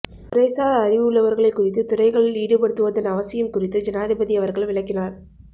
துறைசார் அறிவு உள்ளவர்களை குறித்து துறைகளில் ஈடுபடுத்துவதன் அவசியம் குறித்து ஜனாதிபதி அவர்கள் விளக்கினார்